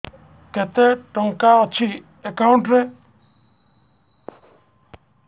କେତେ ଟଙ୍କା ଅଛି ଏକାଉଣ୍ଟ୍ ରେ